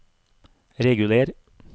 reguler